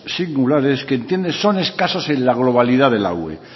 singulares que entienden son escasos en la globalidad de la ue